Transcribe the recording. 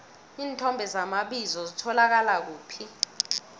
iinthomo zamabizo zitholakala kuphi